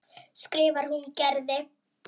skrifar hún Gerði.